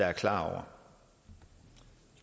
er klar